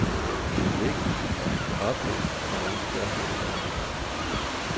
Det er vigtigt, at de kan opleve, hvordan vi gør her i landet.